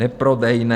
Neprodejné!